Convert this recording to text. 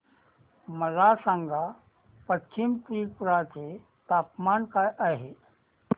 मला सांगा पश्चिम त्रिपुरा चे तापमान काय आहे